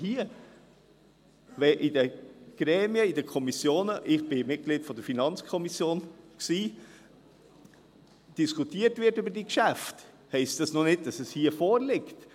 Wenn in den Gremien, in den Kommissionen – ich bin, oder war, Mitglied der FiKo – über diese Geschäfte diskutiert wird, heisst das noch nicht, dass es hier vorliegt.